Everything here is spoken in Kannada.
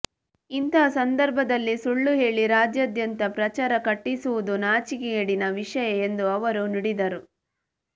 ಇಂತಹ ಸಂದರ್ಭದಲ್ಲಿ ಸುಳ್ಳು ಹೇಳಿ ರಾಜ್ಯಾದ್ಯಂತ ಪ್ರಚಾರ ಕಟ್ಟಿಸುವುದು ನಾಚಿಕೆಗೇಡಿನ ವಿಷಯ ಎಂದು ಅವರು ನುಡಿದರು